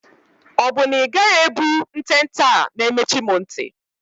Ọ bụ na ị gaghị ebu ntente a na-emechi m nti?